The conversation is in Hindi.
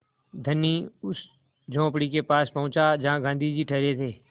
धनी उस झोंपड़ी के पास पहुँचा जहाँ गाँधी जी ठहरे थे